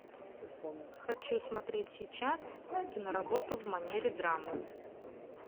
хочу смотреть сейчас киноработу в манере драмы